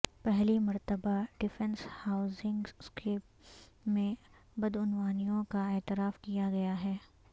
پہلی مرتبہ defence housing scheme میں بدعنوانیوں کا اعتراف کیا گیا ہے